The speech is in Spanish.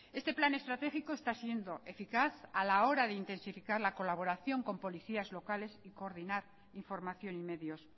este plan estratégico está siendo eficaz a la hora de intensificar la colaboración con policías locales y coordinar información y medios